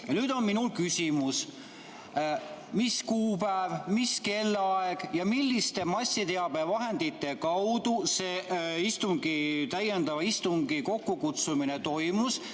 " Ja nüüd on minul küsimus: mis kuupäev, mis kellaaeg ja milliste massiteabevahendite kaudu see täiendava istungi kokkukutsumine toimus?